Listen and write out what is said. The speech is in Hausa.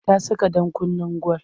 Ta saka ɗakunnen gwal.